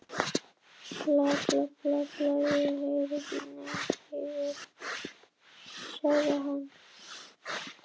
Þögnin hringaði sig við stöðumælana, læddist um port eða skaust þófamjúk um stræti.